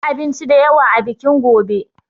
Za a yi abinci da yawa a bikin gobe.